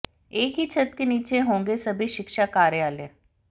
एक ही छत के नीचे होंगे सभी शिक्षा कार्यालय